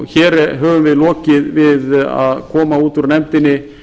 hér höfum við lokið við að koma út úr nefndinni